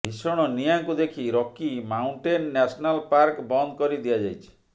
ଭୀଷଣ ନିଆଁକୁ ଦେଖି ରକି ମାଉଣ୍ଟେନ ନ୍ୟାସନାଲ ପାର୍କ ବନ୍ଦ କରିଦିଆଯାଇଛି